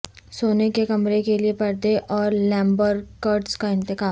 سونے کے کمرے کے لئے پردے اور لیمبرکٹز کا انتخاب